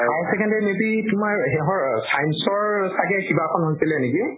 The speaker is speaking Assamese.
high secondary may be তোমাৰ সেহʼ science ৰ চাগে কিবা এখন হৈছিলে নেকি?